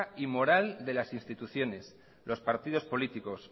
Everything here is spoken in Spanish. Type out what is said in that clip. y moral de las instituciones los partidos políticos